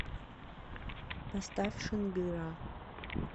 поставь шынгыраа